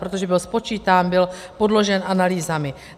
Protože byl spočítán, byl podložen analýzami.